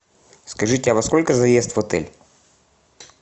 скажите а во сколько заезд в отель